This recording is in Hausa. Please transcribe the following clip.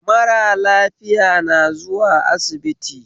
Mara lafiya na zuwa asibiti